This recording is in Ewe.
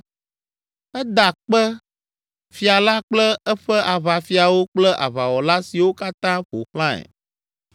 Eda kpe Fia la kple eƒe aʋafiawo kple aʋawɔla siwo katã ƒo xlãe!